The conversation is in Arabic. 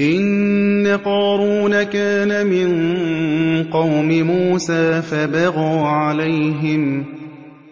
۞ إِنَّ قَارُونَ كَانَ مِن قَوْمِ مُوسَىٰ فَبَغَىٰ عَلَيْهِمْ ۖ